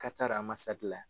K'a taara la.